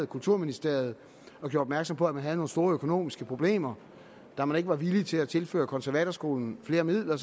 kulturministeriet og gjorde opmærksom på at man havde nogle store økonomiske problemer da man ikke var villig til at tilføre konservatorskolen flere midler